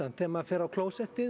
þegar maður fer á klósettið